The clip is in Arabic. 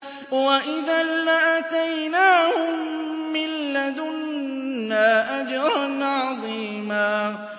وَإِذًا لَّآتَيْنَاهُم مِّن لَّدُنَّا أَجْرًا عَظِيمًا